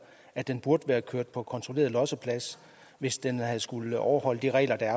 at den burde være blevet kørt på kontrolleret losseplads hvis den havde skullet overholde de regler der